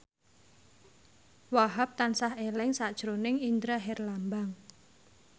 Wahhab tansah eling sakjroning Indra Herlambang